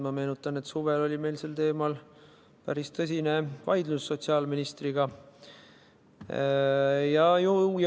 Ma meenutan, et suvel oli meil sel teemal sotsiaalministriga päris tõsine vaidlus.